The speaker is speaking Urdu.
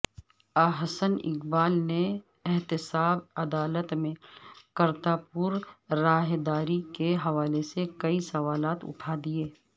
احسن اقبال نے احتساب عدالت میں کرتاپورراہداری کے حوالے سے کئی سوالات اٹھا دئیے